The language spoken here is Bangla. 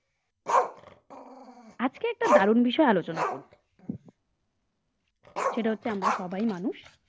আজকে একটা দারুণ বিষয় আলোচনা করব সেটা হচ্ছে আমরা সবাই মানুষ